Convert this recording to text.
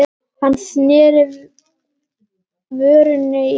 Hann sneri vörn í sókn.